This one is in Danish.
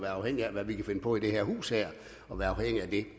afhængige af hvad vi kan finde på i det her hus